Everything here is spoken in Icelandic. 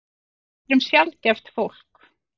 Því við erum sjaldgæft fólk.